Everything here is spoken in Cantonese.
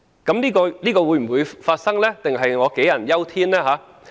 這種情況會否出現，還是我杞人憂天？